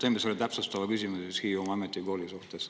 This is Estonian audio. Teengi selle täpsustava küsimuse Hiiumaa Ametikooli kohta.